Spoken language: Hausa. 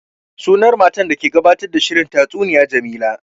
Sunan matar da ke gabatar da shirin tastuniya Jamila